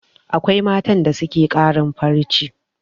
Akwai matan da suke ƙarin farce